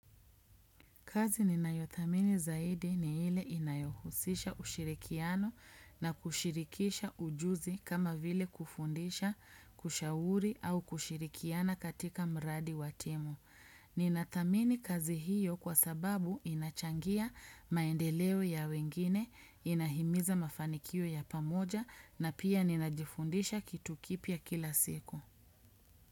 Kazi ninayothamini zaidi ni ile inayohusisha ushirikiano na kushirikisha ujuzi kama vile kufundisha, kushauri au kushirikiana katika mradi watimu. Ninathamini kazi hiyo kwa sababu inachangia maendeleo ya wengine, inahimiza mafanikio ya pamoja na pia ninajifundisha kitu kipya kila siku.